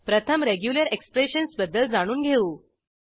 प्रथमregular expressions बद्दल जाणून घेऊ